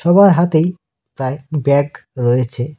সবার হাতেই প্রায় ব্যাগ রয়েছে।